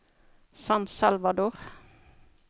San Salvador